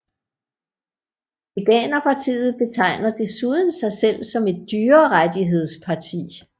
Veganerpartiet betegner desuden sig selv som et dyrerettighedsparti